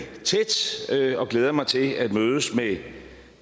tæt og glæder mig til at mødes med